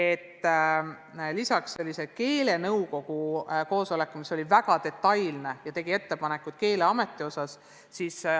Toimus keelenõukogu koosolek, kus tehti väga detailseid ettepanekuid Keeleameti töö kohta.